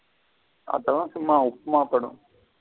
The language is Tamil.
அதுல சும்மா உப்புமா படம்.